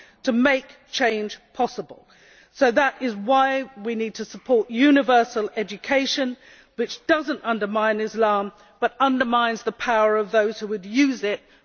to make change possible, so that is why we need to support universal education which does not undermine Islam but undermines the power of those who would use it for their own purposes.